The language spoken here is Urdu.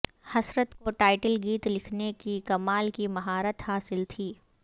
حسرت کو ٹائٹل گیت لکھنے کی کمال کی مہارت حاصل تھی